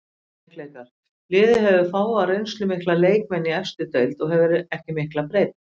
Veikleikar: Liðið hefur fáa reynslumikla leikmenn í efstu deild og hefur ekki mikla breidd.